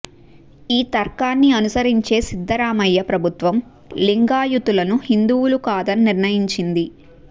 ఈ తర్కాన్ని అనుసరించే సిద్ధరామయ్య ప్రభుత్వం లింగాయుతులను హిందువులు కాదని నిర్ణయించింది